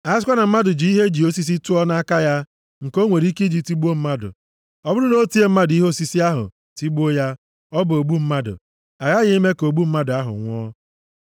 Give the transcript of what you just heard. A sikwa na mmadụ ji ihe e ji osisi tụọ nʼaka ya, nke o nwere ike i ji tigbuo mmadụ, ọ bụrụ na o tie mmadụ ihe osisi ahụ, tigbuo ya, ọ bụ ogbu mmadụ. A ghaghị ime ka ogbu mmadụ ahụ nwụọ.